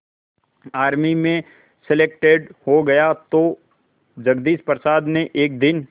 army में selected हो गया तो जगदीश प्रसाद ने एक दिन